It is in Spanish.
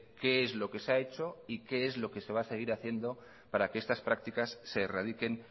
qué es lo que se ha hecho y qué es lo que se va a seguir haciendo para que estas prácticas se erradiquen